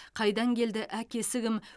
қайдан келді әкесі кім